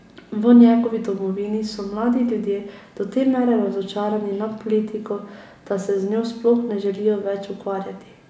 V njegovi domovini so mladi ljudje do te mere razočarani nad politiko, da se z njo sploh ne želijo več ukvarjati.